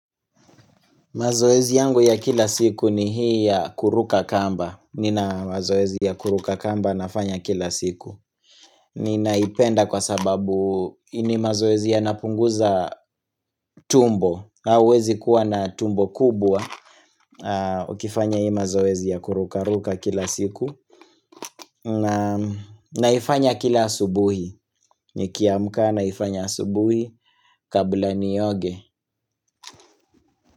Mazoezi yangu ya kila siku ni hii ya kuruka kamba nina mazoezi ya kuruka kamba nafanya kila siku Ninaipenda kwa sababu ni mazoezi ya napunguza tumbo na uwezi kuwa na tumbo kubwa Ukifanya hii mazoezi ya kuruka ruka kila siku na naifanya kila asubuhi Nikiamka naifanya asubuhi kabla ni nioge.